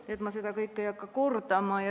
Nii et ma seda kõike kordama ei hakka.